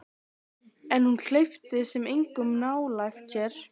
En hún hleypti samt engum nálægt sér.